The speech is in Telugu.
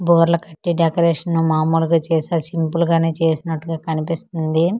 బోర్ల కట్టి డెకరేషన్ మామూలుగా చేసారు సింపుల్ గానే చేసినట్టుగా కనిపిస్తుంది.